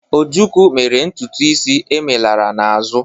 Ojukwu mere ntutu isi emelara n'azụ.